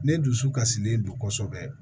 Ne dusu kasilen do kosɛbɛ